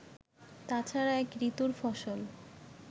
তাছাড়া এক ঋতুর ফসল